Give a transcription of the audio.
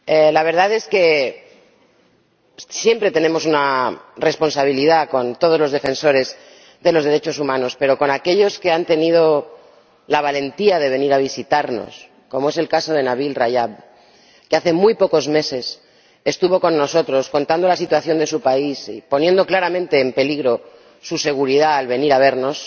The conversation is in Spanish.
La verdad es que siempre tenemos una responsabilidad con todos los defensores de los derechos humanos, pero con aquellos que han tenido la valentía de venir a visitarnos, como es el caso de Nabil Rajab, que hace muy pocos meses estuvo con nosotros, contando la situación de su país y poniendo claramente en peligro su seguridad al venir a vernos,